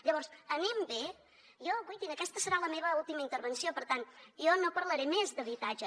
llavors anem bé jo guaitin aquesta serà la meva última intervenció per tant jo no parlaré més d’habitatge